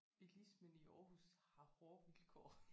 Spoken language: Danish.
Bilismen i Aarhus har hårde vilkår